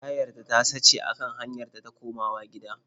Tayarta ta sace a kan hanyar ta ta komawa gida.